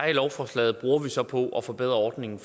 i lovforslaget bruger vi så på at forbedre ordningen